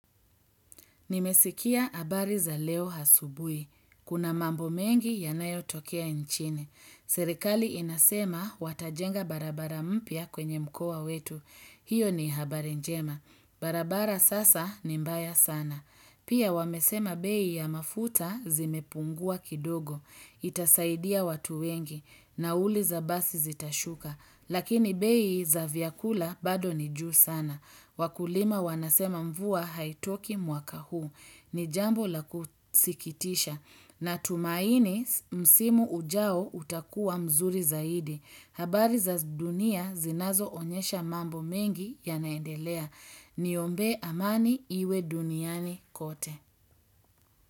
Nimesikia habari za leo asubuhi Kuna mambo mengi yanayotokea nchini. Serikali inasema watajenga barabara mpya kwenye mkoa wetu. Hiyo ni habari njema. Barabara sasa ni mbaya sana. Pia wamesema bei ya mafuta zimepungua kidogo. Itasaidia watu wengi. Nauli za basi zitashuka. Lakini bei za vyakula bado ni juu sana. Wakulima wanasema mvua haitoki mwaka huu. Ni jambo la kusikitisha. Natumaini msimu ujao utakuwa mzuri zaidi. Habari za dunia zinazoonyesha mambo mengi yanaendelea. Niombee amani iwe duniani kote.